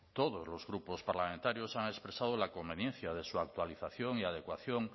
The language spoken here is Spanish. todos los grupos parlamentarios han expresado la conveniencia de su actualización y adecuación